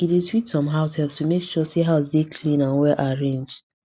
e dey sweet some househelps to make sure say house dey clean and well arranged